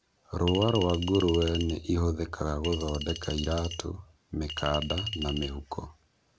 rũũa rwaa ngũrũe nĩ ihũthĩkaga gũthondeka iratũ, mĩkanda na mĩhuko.